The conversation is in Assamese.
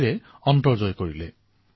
আমাৰ ইয়াত শাস্ত্ৰসমূহত কোৱা হৈছে